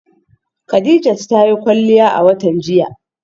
Khadijat ta yi kwalliya a watan jiya.